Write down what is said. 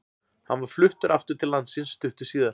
Hann var fluttur aftur til landsins stuttu síðar.